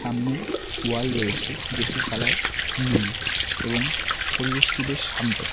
সামনে ওয়াল রয়েছে যেটির কালার নীল এবং পরিবেশটি বেশ শান্ত।